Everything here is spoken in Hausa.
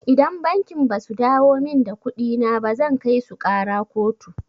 Idan bankin basu dawo min da kuɗina ba zan kaisu ƙara kotu.